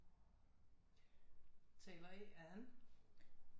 Taler A Ann